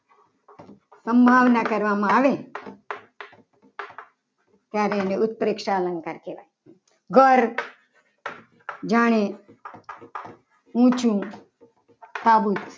ભાવના કરવામાં આવે તેને ત્યારે એને ઉત્પ્રેક્ષા અલંકાર કહેવાય. ઘર જાણે ઊંચું સાબુદ